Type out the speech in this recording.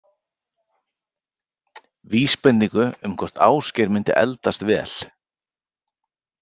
Vísbendingu um hvort Ásgeir myndi eldast vel?